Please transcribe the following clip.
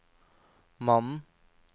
mannen